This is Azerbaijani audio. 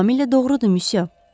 Tamamilə doğrudur, missiyo.